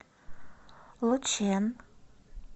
лучэн